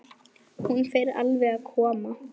Hún fer alveg að koma.